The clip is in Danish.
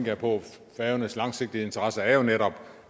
jeg på at færøernes langsigtede interesser jo netop